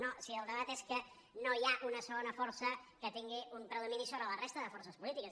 no si el debat és que no hi ha una segona força que tingui un predomini sobre la resta de forces polítiques